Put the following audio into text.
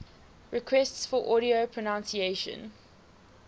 requests for audio pronunciation